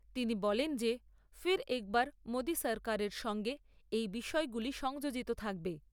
তিনি বলেন যে ফির এক বার মোদী সরকারের সঙ্গে এই বিষয়গুলি সংযোজিত থাকবে।